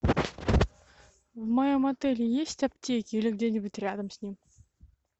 в моем отеле есть аптеки или где нибудь рядом с ним